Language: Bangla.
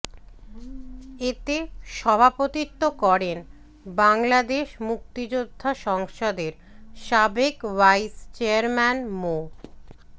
এতে সভাপতিত্ব করেন বাংলাদেশ মুক্তিযোদ্ধা সংসদের সাবেক ভাইস চেয়ারম্যান মো